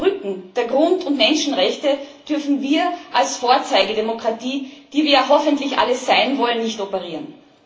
Auf dem Rücken der Grund und Menschenrechte dürfen wir als Vorzeigedemokratie, die wir hoffentlich alle sein wollen, nicht operieren.